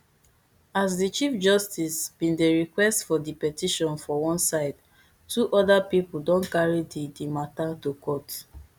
as di chief justice bin dey request for di petition for one side two oda pipo don carry di di matter to court